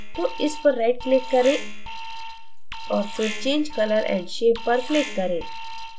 तो इस पर right click करें और फिर change color and shape पर click करें